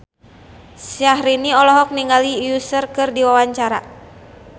Syahrini olohok ningali Usher keur diwawancara